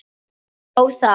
Þó það.